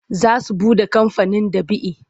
Za su buɗe kamfanin ɗab'i.